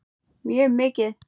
Mjög mikið.